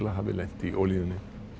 hafi lent í olíunni